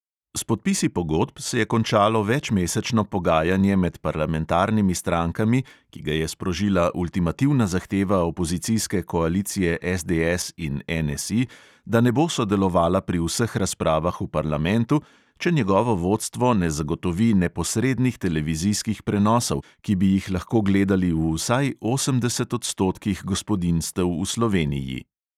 S podpisi pogodb se je končalo večmesečno pogajanje med parlamentarnimi strankami, ki ga je sprožila ultimativna zahteva opozicijske koalicije SDS in NSI, da ne bo sodelovala pri vseh razpravah v parlamentu, če njegovo vodstvo ne zagotovi neposrednih televizijskih prenosov, ki bi jih lahko gledali v vsaj osemdeset odstotkih gospodinjstev v sloveniji.